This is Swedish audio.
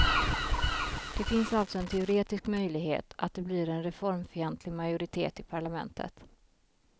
Det finns alltså en teoretisk möjlighet att det blir en reformfientlig majoritet i parlamentet.